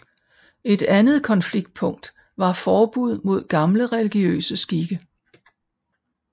Et andet konfliktpunkt var forbud mod gamle religiøse skikke